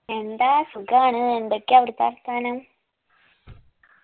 എന്താ സുഖാണ് എന്തൊക്കെയാ അവിടത്തെ വർത്താനം